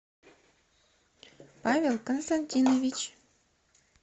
павел константинович